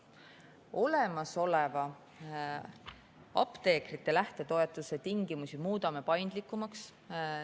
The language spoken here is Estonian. Olemasoleva apteekrite lähtetoetuse tingimusi muudame paindlikumaks.